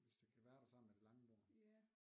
Hvis det kan være der sammen med det lange bord